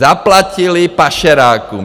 Zaplatili pašerákům.